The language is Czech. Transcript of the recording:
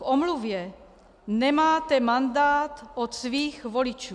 K omluvě nemáte mandát od svých voličů.